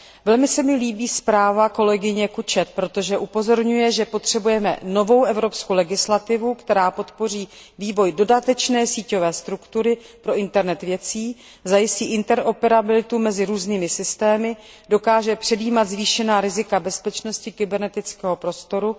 Velmi se mi líbí zpráva kolegyně Cutchet, protože upozorňuje, že potřebujeme novou evropskou legislativu, která podpoří vývoj dodatečné síťové struktury pro internet věcí, zajistí interoperabilitu mezi různými systémy, dokáže předjímat zvýšená rizika bezpečnosti kybernetického prostoru.